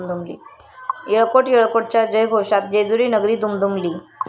यळकोट..यळकोट...'च्या जयघोषात जेजुरीनगरी दुमदुमली